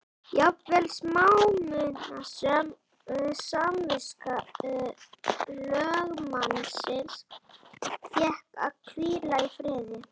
Jafnvel smámunasöm samviska lögmannsins fékk að hvíla í friði.